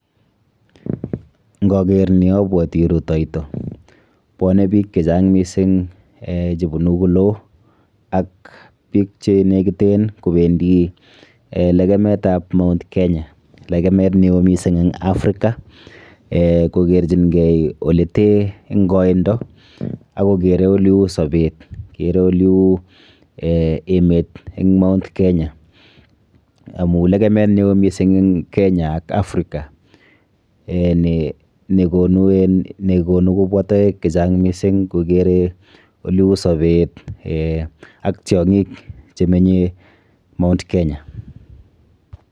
Nkarer ni abwoti rutoito. Bwone biik chechang mising eh chebunu koloo ak biik chenekiten kobendi lekemetap Mt. Kenya. Lekemet neo mising eng Africa eh kokerchinkei olete eng koindo akokere oleu sobet kere oleu eh emet eng Mt. Kenya amu lekemet neo mising eng Kenya ak Africa eh nekonu en nekonu kobwa toek chechang mising kokere oleu sobet eh ak tiong'ik chemenye Mt. Kenya.